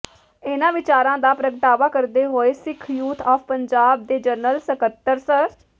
ਇਨ੍ਹਾਂ ਵਿਚਾਰਾਂ ਦਾ ਪ੍ਰਗਟਾਵਾ ਕਰਦੇ ਹੋਏ ਸਿੱਖ ਯੂਥ ਆਫ ਪੰਜਾਬ ਦੇ ਜਨਰਲ ਸਕੱਤਰ ਸ